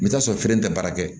I bɛ t'a sɔrɔ kelen tɛ baara kɛ